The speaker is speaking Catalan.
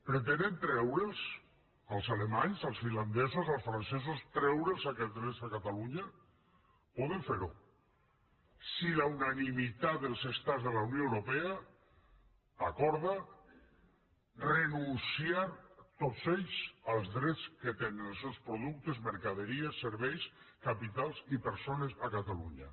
pretenen treure’ls als alemanys als finlandesos als francesos treure’ls aquests drets a catalunya poden fer ho si la unanimitat dels estats de la unió europea acorda renunciar tots ells als drets que tenen els seus productes mercaderies serveis capitals i persones a catalunya